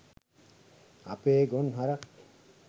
අපේ ගොන් හරක් .